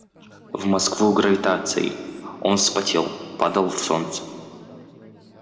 в москву гравитацией он вспотел падал в солнце